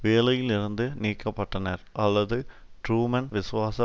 வேலையிலிருந்து நீக்க பட்டனர் அல்லது ட்ரூமன் விசுவாச